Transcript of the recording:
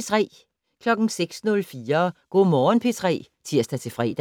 06:04: Go' Morgen P3 (tir-fre)